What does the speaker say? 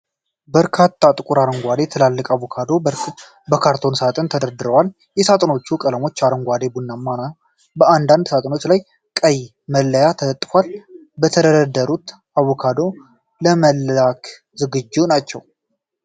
በርካታ ጥቁር አረንጓዴ፣ ትላልቅ አቮካዶዎች በካርቶን ሳጥኖች ተደርድረዋል። የሳጥኖቹ ቀለሞች አረንጓዴና ቡናማ ነው፣ በአንዳንድ ሳጥኖች ላይ ቀይ መለያ ተለጥፏል። የተደረደሩት አቮካዶዎች ለመላክ ዝግጁ ናቸው።